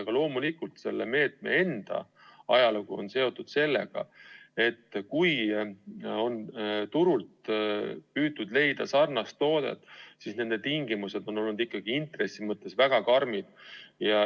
Aga loomulikult selle meetme enda ajalugu on seotud sellega, et kui turult on püütud leida sarnast toodet, siis selle tingimused on olnud intressi mõttes ikkagi väga karmid.